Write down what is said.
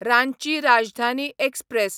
Ranchi Rajdhani express